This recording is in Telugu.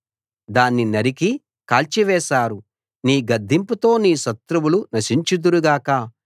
దాన్ని నరికి కాల్చివేశారు నీ గద్దింపుతో నీ శత్రువులు నశించుదురు గాక